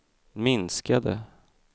minskade